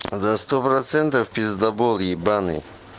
да сто процентов пиздабол ебанный